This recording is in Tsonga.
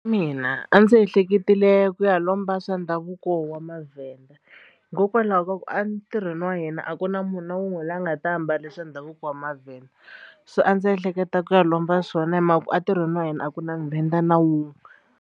Mina a ndzi ehleketerile ku ya lomba swa ndhavuko wa Mavhenda hikokwalaho ka ku a ntirhweni wa yena a ku na munhu na un'we loyi a nga ta ambale swa ndhavuko wa mavhenda so a ndzi ehleketa ku ya lomba swona hi mhaka ku a ntirhweni wa hina a ku na Muvhenda na wun'we.